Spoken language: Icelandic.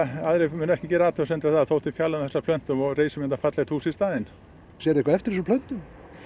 aðrir muni ekki gera athugasemd við það þótt við fjarlægjum þessar plöntur og reisum hérna fallegt hús í staðinn sérðu eftir þessum plöntum